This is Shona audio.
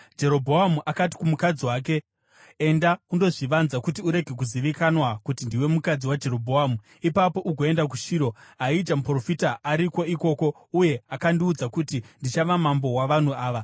Jerobhoamu akati kumukadzi wake, “Enda undozvivanza, kuti urege kuzivikanwa kuti ndiwe mukadzi waJerobhoamu. Ipapo ugoenda kuShiro. Ahija muprofita ariko ikoko, uya akandiudza kuti ndichava mambo wavanhu ava.